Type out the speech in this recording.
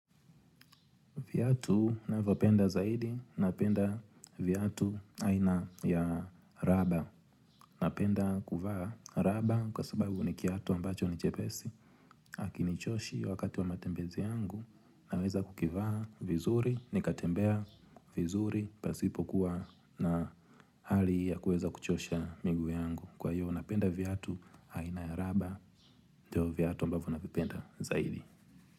Viatu navopenda zaidi, napenda viatu aina ya raba. Napenda kuvaa raba kwa sababu ni kiatu ambacho ni chepesi. Haki ni choshi wakati wa matembezi yangu, naweza kukivaa vizuri, nikatembea vizuri, pasipo kuwa na hali ya kuweza kuchosha miguu yangu. Kwa hiyo, napenda viatu aina ya raba, ndio viatu ambavyo navipenda zaidi.